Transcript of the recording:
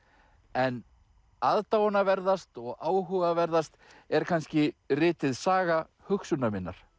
en og áhugaverðast er kannski ritið Saga hugsunar minnar